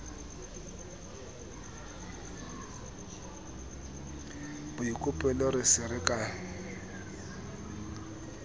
boikopelo re se re sa